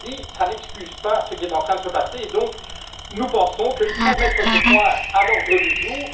Ceci dit, cela n'excuse pas ce qui est en train de se passer et nous pensons qu'il faut mettre ce point à l'ordre du jour.